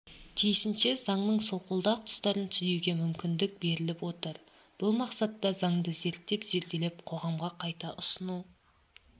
тиісінше заңның солқылдақ тұстарын түзеуге мүмкіндік беріліп отыр бұл мақсатта заңды зерттеп-зерделеп қоғамға қайта ұсыну